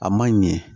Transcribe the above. A man ɲɛ